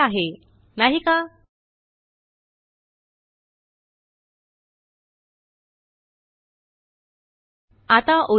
ल्ट5 6 सेक्स चालू ठेवाgtसोपे आहे नाही का160